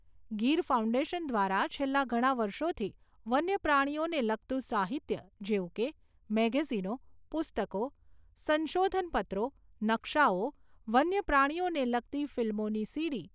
Gir foundation દ્વારા છેલ્લા ઘણા વર્ષોથી વન્યપ્રાણીઓને લગતું સાહિત્ય જેવું કે, મેગેઝીનો, પુસ્તકો, સંશોધનપત્રો, નકશાઓ, વન્યપ્રાણીઓને લગતી ફીલ્મોની સીડી